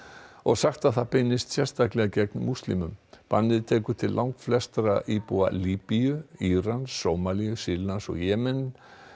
og sagt það beinast sérstaklega gegn múslimum bannið tekur til langflestra íbúa Líbíu Írans Sómalíu Sýrlands og Jemen